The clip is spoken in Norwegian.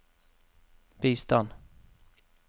bistand